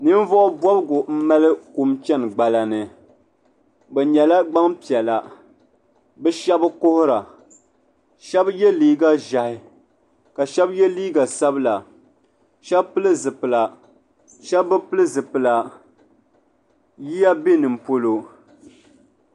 Ninvuɣubɔbigu m-mali kum chani gbala ni bɛ nyɛla gbampiɛla bɛ shɛba kuhira shɛba ye liiga ʒɛhi ka shɛba ye liiga sabila shɛba pili zipila shɛba bi pili zipila yiya be nimpolo.